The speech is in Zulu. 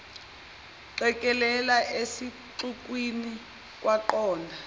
qekelele esixukwini kwaqonda